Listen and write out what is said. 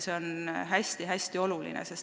See on hästi-hästi oluline.